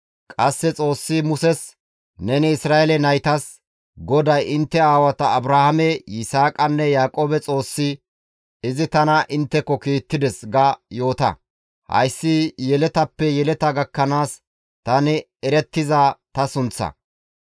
Qasse Xoossi Muses, «Neni Isra7eele naytas, ‹GODAY intte aawata Abrahaame, Yisaaqanne, Yaaqoobe Xoossi izi tana intteko kiittides› ga yoota; hayssi yeletappe yeleta gakkanaas tani erettiza ta sunththa.